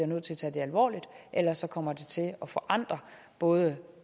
nødt til at tage det alvorligt ellers kommer det til at forandre både